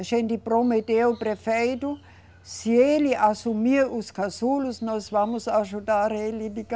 A gente prometeu ao prefeito, se ele assumir os casulos, nós vamos ajudar ele de